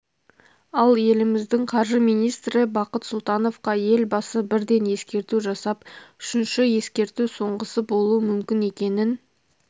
ал еліміздің қаржы министрі бақыт сұлтановқа елбасы бірден ескерту жасап үшінші ескерту соңғысы болуы мүмкін екенін